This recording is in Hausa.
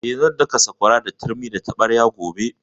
Eh, zan daka sakwara da turmi da taɓarya gobe